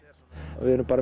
við erum bara